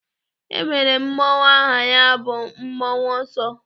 E nwere mmọnwụ aha ya bụ mmọnwụ ọsọ.